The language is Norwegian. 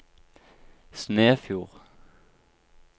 Snefjord